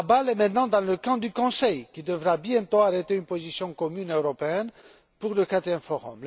La balle est maintenant dans le camp du Conseil, qui devra bientôt arrêter une position commune européenne pour le quatrième forum.